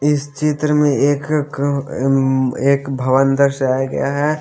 इस चित्र में एक क क उम्म एक भवन दर्शाया गया है।